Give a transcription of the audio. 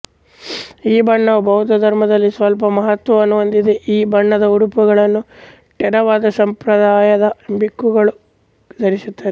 ಈ ಬಣ್ಣವು ಬೌದ್ಧ ಧರ್ಮದಲ್ಲಿ ಸ್ವಲ್ಪ ಮಹತ್ವವನ್ನು ಹೊಂದಿದೆ ಈ ಬಣ್ಣದ ಉಡುಪುಗಳನ್ನು ಥೇರವಾದ ಸಂಪ್ರದಾಯದ ಭಿಕ್ಕುಗಳು ಧರಿಸುತ್ತಾರೆ